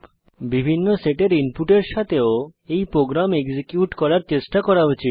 বিভিন্ন সেটের ইনপুটের সাথেও এই প্রোগ্রাম এক্সিকিউট করার চেষ্টা করা উচিত